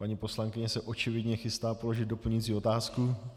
Paní poslankyně se očividně chystá položit doplňující otázku.